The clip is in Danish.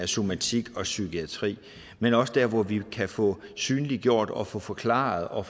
somatik og psykiatri men også der hvor vi kan få synliggjort og få forklaret og